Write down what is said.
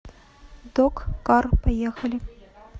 док кар поехали